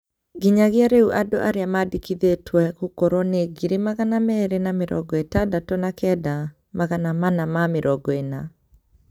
Nginyagia rĩu andu arĩa mandĩkithĩtwe gukorwo nĩ ngiri magana meri ma mĩrongo ĩtandatu na kenda, magana mana ma mĩrongo ina